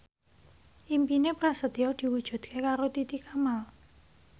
impine Prasetyo diwujudke karo Titi Kamal